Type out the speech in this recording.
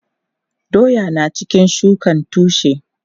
Doya na cikin shukan tushe.